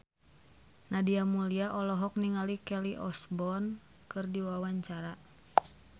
Nadia Mulya olohok ningali Kelly Osbourne keur diwawancara